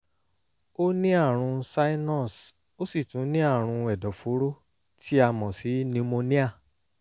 ó ní àrùn sinus ó sì tún ní àrùn ẹ̀dọ̀fóró tí a mọ̀ sí pneumonia